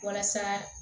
Walasa